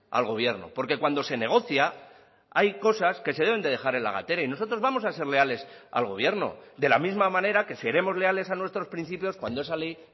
al gobierno porque cuando se negocia hay cosas que se deben de dejar en la gatera y nosotros vamos a ser leales al gobierno de la misma manera que seremos leales a nuestros principios cuando esa ley